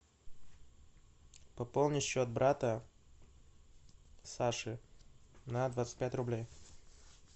пополнить счет брата саши на двадцать пять рублей